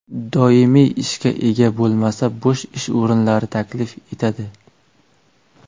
Doimiy ishga ega bo‘lmasa, bo‘sh ish o‘rinlari taklif etiladi.